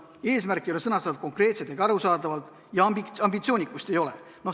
Eesmärk ei ole sõnastatud konkreetselt ning arusaadavalt ja ambitsioonikust ei ole.